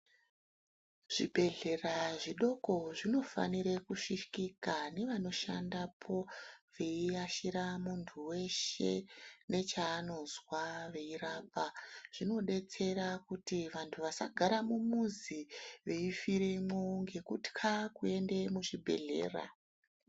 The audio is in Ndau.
Zvibhedhlera zvidoko zvinofanire kusvikika nevanoshandapo veiashira muntu weshe nechaanozwa veirapa. Zvinodetsera kuti vantu vasagara mumuzi veifiremo ngekutya kuende muzvibhedhlera.